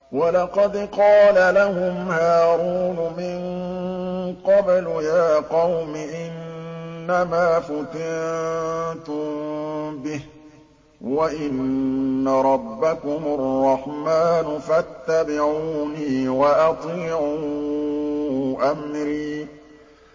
وَلَقَدْ قَالَ لَهُمْ هَارُونُ مِن قَبْلُ يَا قَوْمِ إِنَّمَا فُتِنتُم بِهِ ۖ وَإِنَّ رَبَّكُمُ الرَّحْمَٰنُ فَاتَّبِعُونِي وَأَطِيعُوا أَمْرِي